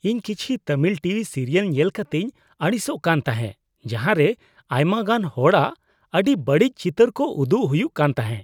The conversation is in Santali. ᱤᱧ ᱠᱤᱪᱷᱤ ᱛᱟᱹᱢᱤᱞ ᱴᱤᱵᱷᱤ ᱥᱤᱨᱭᱟᱹᱞ ᱧᱮᱞ ᱠᱟᱛᱤᱧ ᱟᱹᱲᱤᱥᱚᱜ ᱠᱟᱱ ᱛᱟᱦᱮᱸᱜ ᱡᱟᱦᱟᱸ ᱨᱮ ᱟᱭᱢᱟ ᱜᱟᱱ ᱦᱚᱲᱟᱜ ᱟᱹᱰᱤ ᱵᱟᱹᱲᱤᱡ ᱪᱤᱛᱟᱹᱨ ᱠᱚ ᱩᱫᱩᱜ ᱦᱩᱭᱩᱜ ᱠᱟᱱ ᱛᱟᱦᱮᱸᱜ ᱾